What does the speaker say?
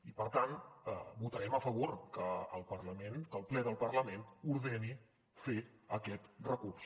i per tant votarem a favor que el parlament que el ple del parlament ordeni fer aquest recurs